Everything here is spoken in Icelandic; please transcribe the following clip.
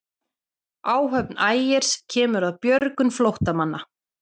Áhöfn Ægis kemur að björgun flóttamanna